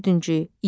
Dördüncü.